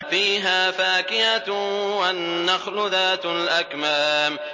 فِيهَا فَاكِهَةٌ وَالنَّخْلُ ذَاتُ الْأَكْمَامِ